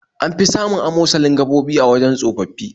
An fi samun amosalin gaɓoɓi a wajen tsofaffi